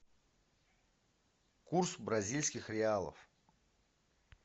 курс бразильских реалов